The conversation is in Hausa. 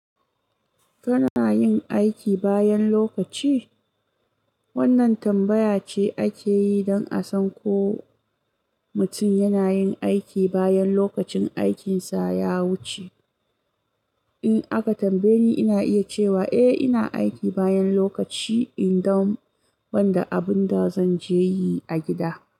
Kana yin aiki bayan lokaci? Wannan tambaya ce ake yi don a san ko mutum yana yin aiki bayan lokacin aikinsa ya wuce. In aka tambaye ni, ina iya cewa eh ina aiki bayan lokaci in dam wanda abun da zanje yi a gida.